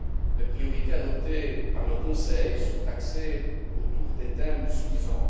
Les priorités adoptées par le Conseil sont axées autour des thèmes suivants.